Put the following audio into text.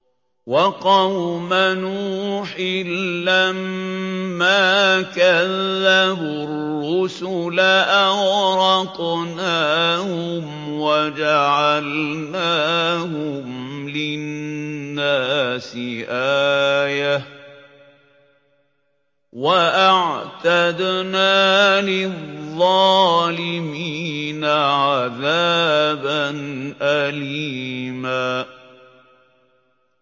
وَقَوْمَ نُوحٍ لَّمَّا كَذَّبُوا الرُّسُلَ أَغْرَقْنَاهُمْ وَجَعَلْنَاهُمْ لِلنَّاسِ آيَةً ۖ وَأَعْتَدْنَا لِلظَّالِمِينَ عَذَابًا أَلِيمًا